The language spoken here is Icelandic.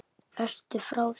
Ertu frá þér!